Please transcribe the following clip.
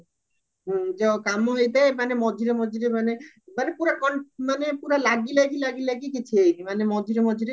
ହ୍ମ ଯୋଉ କମ ହେଇଥାଏ ମାନେ ମଝିରେ ମଝିରେ ମାନେ ମାନେ ପୁରା ମାନେ ପୁରା ଲାଗି ଲାଗି ଲାଗି ଲାଗି କିଛି ହେଇନି ମାନେ ମଝିରେ ମଝିରେ